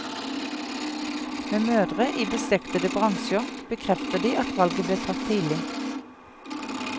Med mødre i beslektede bransjer, bekrefter de at valget ble tatt tidlig.